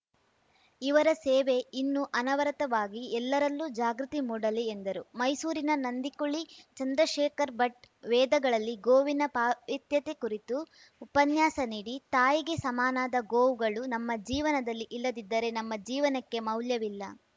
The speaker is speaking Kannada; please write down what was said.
ಇವರ ಸೇವೆ ಇನ್ನೂ ಅನವರತವಾಗಿ ಎಲ್ಲರಲ್ಲೂ ಜಾಗೃತಿ ಮೂಡಲಿ ಎಂದರು ಮೈಸೂರಿನ ನಂದಿಕುಳಿ ಚಂದ್ರಶೇಖರ್‌ಭಟ್‌ ವೇದಗಳಲ್ಲಿ ಗೋವಿನ ಪಾವಿತ್ಯತೆ ಕುರಿತು ಉಪನ್ಯಾಸ ನೀಡಿ ತಾಯಿಗೆ ಸಮನಾದ ಗೋವುಗಳು ನಮ್ಮ ಜೀವನದಲ್ಲಿ ಇಲ್ಲದಿದ್ದರೆ ನಮ್ಮ ಜೀವನಕ್ಕೆ ಮೌಲ್ಯವಿಲ್ಲ